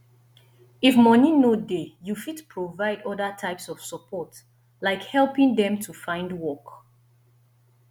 if moni no dey you fit provide oda types of support like helping dem to find work